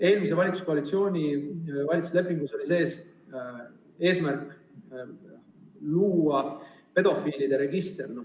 Eelmise valitsuskoalitsiooni lepingus oli sees eesmärk luua pedofiilide register.